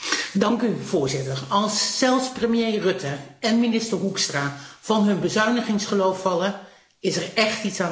Voorzitter, als zelfs premier Rutte en minister Hoekstra van hun bezuinigingsgeloof vallen, is er echt iets aan de hand!